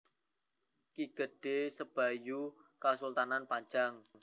Ki Gedhé Sebayu asalé saka Kasultanan Pajang